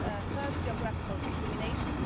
First, geographical discrimination.